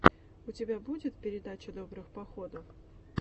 у тебя будет передача добрых походов